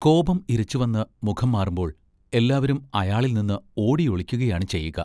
കോപം ഇരച്ചുവന്ന് മുഖം മാറുമ്പോൾ എല്ലാവരും അയാളിൽനിന്ന് ഓടിയൊളിക്കുകയാണ് ചെയ്യുക.